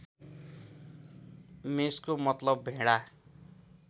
मेषको मतलब भेडा